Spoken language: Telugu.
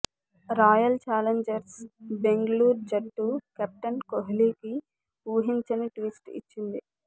రాయల్ చాలెంజర్స్ బెంగళూరు జట్టు కెప్టెన్ కోహ్లి కి ఊహించని ట్విస్ట్ ఇచ్చింది